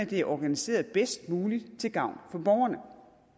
det er organiseret bedst muligt til gavn for borgerne